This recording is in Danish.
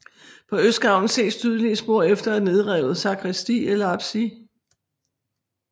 På østgavlen ses tydelige spor efter et nedrevet sakristi eller apsis